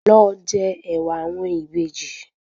Lọ jẹ ẹ̀wà àwọn Ìbejì